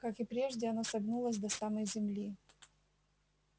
как и прежде оно согнулось до самой земли